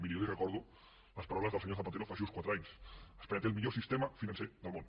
miri jo li recordo les paraules del senyor zapatero fa just quatre anys espanya té el millor sistema financer del món